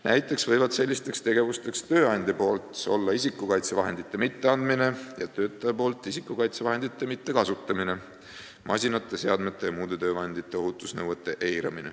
Näiteks võivad sellisteks tegevusteks olla see, kui tööandja ei ole isikukaitsevahendeid andnud, ning see, kui töötaja ei ole isikukaitsevahendeid kasutanud või on eiranud masinate, seadmete ja muude töövahendite ohutusnõudeid.